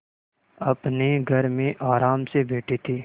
अपने घर में आराम से बैठे थे